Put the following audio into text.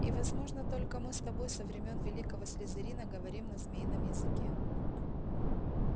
и возможно только мы с тобой со времён великого слизерина говорим на змеином языке